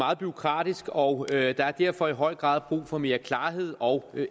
meget bureaukratisk og der er derfor i høj grad brug for mere klarhed og